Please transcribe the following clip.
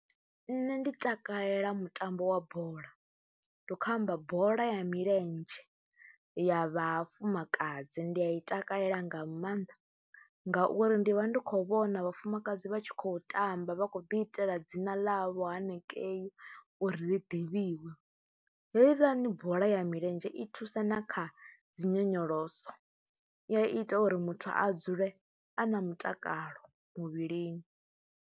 Nṋe ndi takalela mutambo wa bola, ndi khou amba bola ya milenzhe ya vhafumakadzi, ndi a i takalela nga maanḓa ngauri ndi vha ndi khou vhona vhafumakadzi vha tshi khou tamba vha khou itela dzina ḽavho hanengei uri ḽi ḓivhiwe. Heiḽani bola ya milenzhe i thusa na kha dzi nyonyoloso, i ya ita uri muthu a dzule a na mutakalo muvhilini.